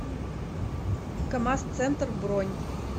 камаз центр бронь